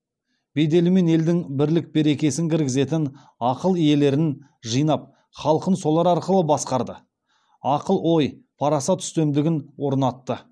беделімен елдің бірлік берекесін кіргізетін ақыл иелерін жинап халқын солар арқылы басқарды ақыл ой парасат үстемдігін орнатты